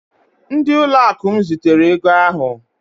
Ndị ụlọakụ m zitere ego ahụ